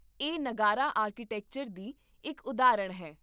ਇਹ ਨਗਾਰਾ ਆਰਕੀਟੈਕਚਰ ਦੀ ਇੱਕ ਉਦਾਹਰਣ ਹੈ